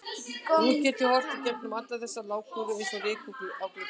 Nú get ég horft í gegnum alla þessa lágkúru eins og ryk á glugga.